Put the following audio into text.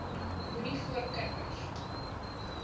moenie voor kinders